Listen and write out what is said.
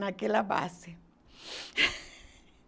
Naquela base